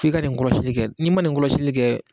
F' i ka nin kɔlɔsili kɛ n'i ma nin kɔlɔsili kɛ